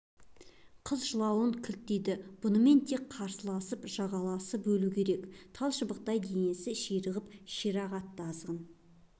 қыз жылауын кілт тыйды бұнымен тек қарсыласып жағаласып өлу керек талшыбықтай денесі ширығып шиыршық атты азғын